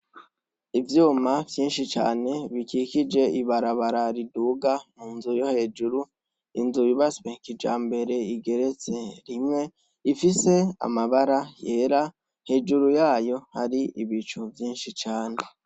Ivyuma vyinshi cane bikikije ibarabara riduga munzu yo hejuru, inzu yubatswe kijambere igiretse rimwe, ifise amabara yera ,hejuru yayo hari ibicu vyinshi cane.